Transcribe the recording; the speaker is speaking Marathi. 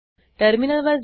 टर्मिनलवर जा